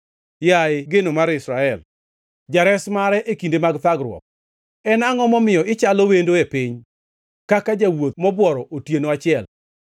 Yaye geno mar Israel, Jares mare e kinde mag thagruok, en angʼo momiyo ichalo wendo e piny, kaka jawuoth mobuoro otieno achiel?